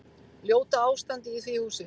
Ljóta ástandið í því húsi.